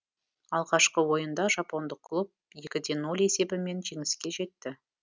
алғашқы ойында жапондық клуб екі де нөл есебімен жеңіске жетті